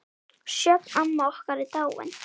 Sjöfn, amma okkar, er dáin.